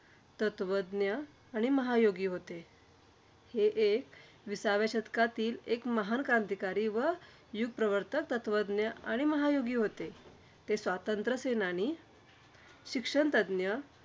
तत्वज्ञ आणि महायोगी होते. ते~ हे विसाव्या शतकातील एक महान क्रांतिकारी व युगप्रवर्तक, तत्वज्ञ आणि महायोगी होते. ते स्वातंत्र्यसेनानी, शिक्षणतज्ज्ञ